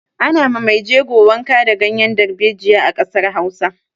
Ana ma mai jego wanka da ganyar dalbejiya a ƙasar Hausa.